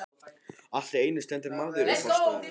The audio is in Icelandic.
Allt í einu stendur maður í forstofunni.